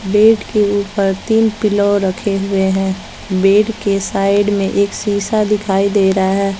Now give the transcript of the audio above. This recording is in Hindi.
बेड के ऊपर तीन पिलो रखे हुए हैं बेड के साइड में एक शीशा दिखाई दे रहा--